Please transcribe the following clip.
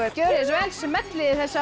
gjörið svo vel smellið þessu á